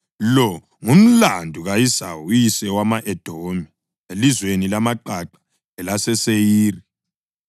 Lo ngumlando ka-Esawu uyise wama-Edomi elizweni lamaqaqa elaseSeyiri.